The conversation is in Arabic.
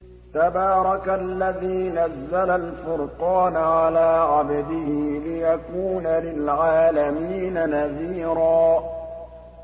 تَبَارَكَ الَّذِي نَزَّلَ الْفُرْقَانَ عَلَىٰ عَبْدِهِ لِيَكُونَ لِلْعَالَمِينَ نَذِيرًا